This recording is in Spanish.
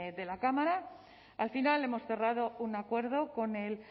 de la cámara al final hemos cerrado un acuerdo con el